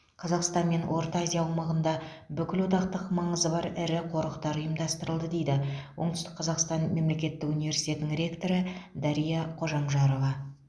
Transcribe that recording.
қазақстан мен орта азия аумағында бүкілодақтық маңызы бар ірі ұлттық қорықтар ұйымдастырылды дейді оңтүстік қазақстан мемлекеттік университетінің ректоры дария қожамжарова